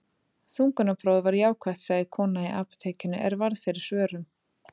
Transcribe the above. Þungunarprófið var jákvætt, sagði kona í apótekinu er varð fyrir svörum.